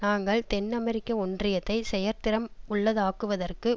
நாங்கள் தென் அமெரிக்க ஒன்றியத்தை செயற்திறம் உள்ளதாக்குவதற்கு